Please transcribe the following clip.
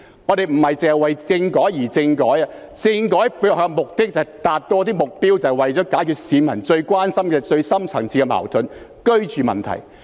我們不只是為政改而政改，政改背後的目的是要達到一些目標，便是要解決市民最關心、最深層次的矛盾——居住問題。